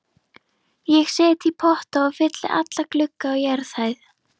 Ég set í potta og fylli alla glugga á jarðhæð.